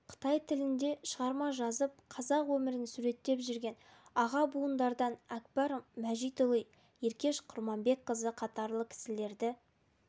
қытай тілінде шығарма жазып қазақ өмірін суреттеп жүрген аға буындардан әкбар мәжитұлы еркеш құрманбекқызы қатарлы кісілерді